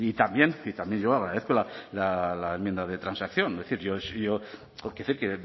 también y también llevaba esto la enmienda de transacción quiero decir que me